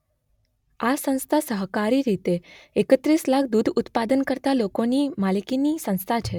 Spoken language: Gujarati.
આ સંસ્થા સહકારી રીતે એકત્રીસ લાખ દૂધ ઉત્પાદન કરતાં લોકોની માલિકીની સંસ્થા છે.